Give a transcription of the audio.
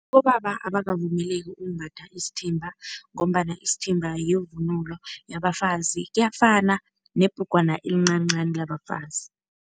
Abobaba abakavumeleki ukumbatha isithimba ngombana isithimba yivunulo yabafazi, kuyafana nebhrugwana elincancani labafazi.